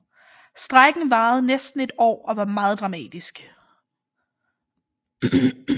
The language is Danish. Strejken varede næsten et år og var meget dramatisk